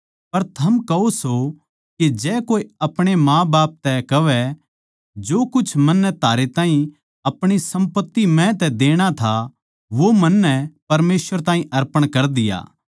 पर थम कहो सो के जै कोए अपणे माँबाप तै कहवै जो कुछ मन्नै थारै ताहीं अपणी सम्पत्ति म्ह तै देणा था वो मन्नै परमेसवर ताहीं अर्पण ताहीं कर दिया